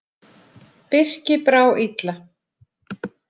Birki brá illa.